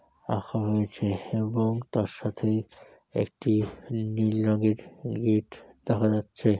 রাখা হয়েছে এবং তার সাথে একটি নীল রঙের গেট দেখা যাচ্ছে।